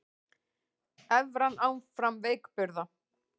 Evran áfram veikburða